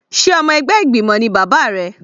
Sé ọmọ ẹgbẹ́ ìgbìmọ̀ ni bàbá rẹ?